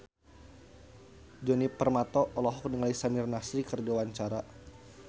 Djoni Permato olohok ningali Samir Nasri keur diwawancara